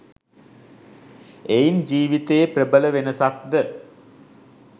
එයින් ජීවිතයේ ප්‍රබල වෙනසක්ද